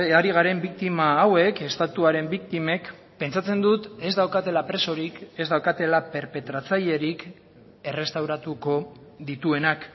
ari garen biktima hauek estatuaren biktimek pentsatzen dut ez daukatela presorik ez daukatela perpetratzailerik errestauratuko dituenak